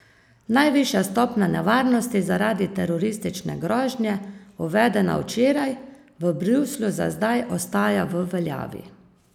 Najvišja stopnja nevarnosti zaradi teroristične grožnje, uvedena včeraj, v Bruslju za zdaj ostaja v veljavi.